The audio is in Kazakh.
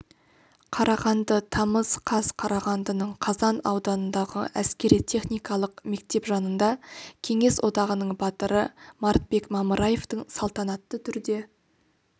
қарағанды тамыз қаз қарағандының қазан ауданындағы әскери-техникалық мектеп жанында кеңес одағының батыры мартбек мамыраевтің салтанатты түрде